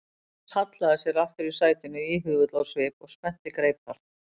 Charles hallaði sér aftur í sætinu íhugull á svip og spennti greipar.